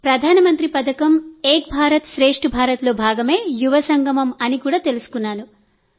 ప్రధానమంత్రి పథకం ఏక్ భారత్ శ్రేష్ఠ భారత్లో భాగమే యువ సంగమం అని తెలుసుకున్నాను